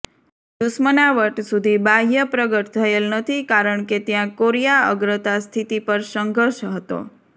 દુશ્મનાવટ સુધી બાહ્ય પ્રગટ થયેલ નથી કારણ કે ત્યાં કોરિયા અગ્રતા સ્થિતિ પર સંઘર્ષ હતો